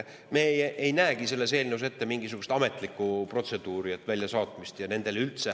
Me ei näe selles eelnõus ette mingisugust ametlikku protseduuri, väljasaatmist.